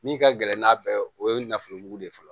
Min ka gɛlɛn n'a bɛɛ o ye nafa de ye fɔlɔ